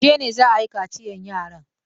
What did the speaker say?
Yaushe ne za a yi kaciyan yaran?